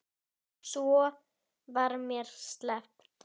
Svo var mér sleppt.